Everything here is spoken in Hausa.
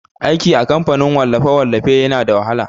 Aiki a kamfanin wallafe-wallafe yana da wahala.